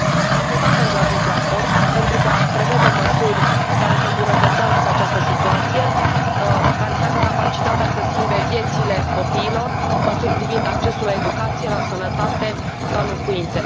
Am votat pentru acest raport pentru că prevede măsuri care să îmbunătățească această situație, care să aibă capacitatea să schimbe viețile copiilor, măsuri privind accesul la educație, la sănătate, la locuințe.